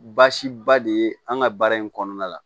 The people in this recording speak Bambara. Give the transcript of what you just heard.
Baasiba de ye an ka baara in kɔnɔna la